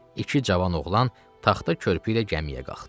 İki cavan oğlan taxta körpü ilə gəmiyə qalxdı.